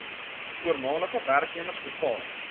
voormalige werknemers bepaal